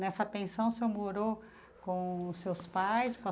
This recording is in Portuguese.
Nessa pensão, o senhor morou com os seus pais, com